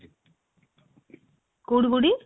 କଉଠି କଉଠି?